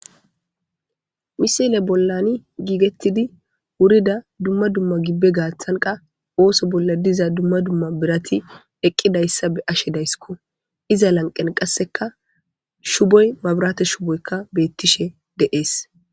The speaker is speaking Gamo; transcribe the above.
misile bollani giigettidi wurida dumma dumma gibbe gaaththanqa ooso bolla diza dumma dumma birati eqqidayssa be ashe daysiko iza lanqen qasseka shuboy mabirate shuboykka beettishe deees